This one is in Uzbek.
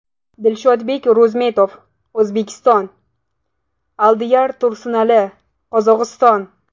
Dilshodbek Ro‘zimetov (O‘zbekiston) Aldiyar Tursunali (Qozog‘iston).